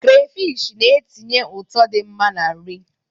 Krafish na-etinye ụtọ dị mma na-nri.